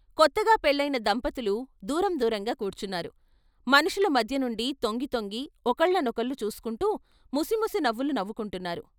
కొత్తగా పెళ్ళయిన దంపతులు దూరం దూరంగా కూర్చున్నారు మనుషుల మధ్య నుండి తొంగితొంగి ఒకళ్ళనొకళ్ళు చూసుకుంటూ ముసిముసి నవ్వులు నవ్వుకుంటున్నారు.